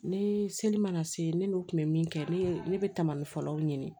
Ne seli mana se ne n'u kun bɛ min kɛ ne ye ne bɛ tamali fɔlɔw ɲini